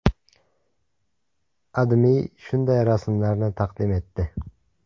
AdMe shunday rasmlarni taqdim etdi.